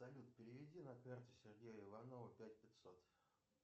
салют переведи на карту сергея иванова пять пятьсот